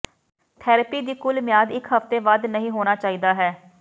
therapy ਦੀ ਕੁੱਲ ਮਿਆਦ ਇੱਕ ਹਫ਼ਤੇ ਵੱਧ ਨਹੀ ਹੋਣਾ ਚਾਹੀਦਾ ਹੈ